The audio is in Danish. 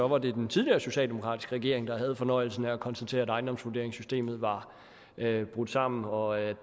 var det den tidligere socialdemokratiske regering der havde fornøjelsen af at konstatere at ejendomsvurderingssystemet var brudt sammen og at